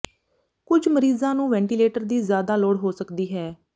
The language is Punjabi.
ਕੁਝ ਮਰੀਜ਼ਾਂ ਨੂੰ ਵੈਂਟੀਲੇਟਰ ਦੀ ਜ਼ਿਆਦਾ ਲੋੜ ਹੋ ਸਕਦੀ ਹੈ